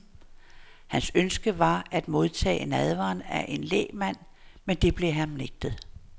Hans ønske var at modtage nadveren af en lægmand, men det blev ham nægtet.